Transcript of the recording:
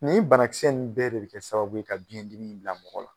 Nin bana kisɛ nn bɛɛ de be kɛ sababu ye ka biyɛn dimi bila mɔgɔ la.